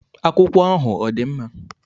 Akwụkwọ ahụ ọ dị mma?